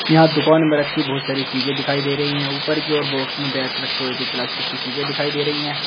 यहाँ दुकान में रखी बहुत सारी चीजें दिखाई दे रही हैं ऊपर की ओर बॉक्स में बैट रखें हुए कोई प्लास्टिक की चीजें दिखाई दे रही हैं।